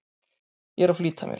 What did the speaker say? Ég er að flýta mér!